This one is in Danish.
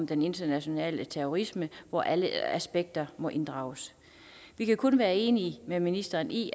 den internationale terrorisme hvor alle aspekter må inddrages vi kan kun være enige med ministeren i